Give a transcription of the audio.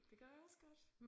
Det gad jeg også godt